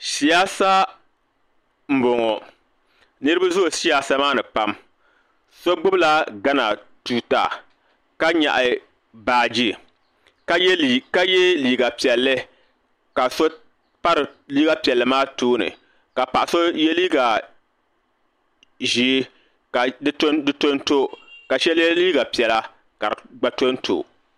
Siyaasa n bɔŋo niriba zooyi siyaasa maa ni pam so gbubi la gana tuuta ka nyaɣi baaji ka yɛ liiga piɛlli ka so pa liiga piɛlli maa tooni ka paɣa so yɛ liiga ʒee ka di to n to ka shɛba yɛ liiga piɛla ka di gba to n to.